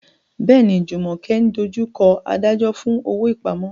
Bẹ́ẹ̀ni, Jumoke ń dojú kọ adájọ́ fún owó ìpamọ́.